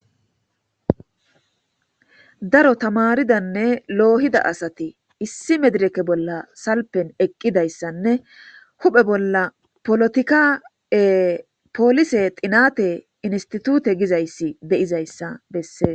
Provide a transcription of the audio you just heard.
Daro tamaridanne loohida asati issi medireke bolla salpen eqqidayssanne huphe bolla polotika7e poolise xinate institute gizayssi de7izayssa bessees.